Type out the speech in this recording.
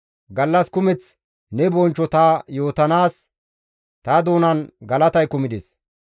Gallas kumeth ne bonchcho ta yootanaas, ta doonan galatay kumides.